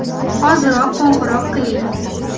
Hoziroq qo‘ng‘iroq qiling!